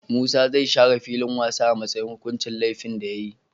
Musa zai share filin wasa a matsayin hukuncin lefin da yayi